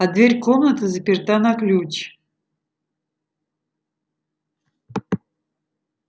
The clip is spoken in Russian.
а дверь комнаты заперта на ключ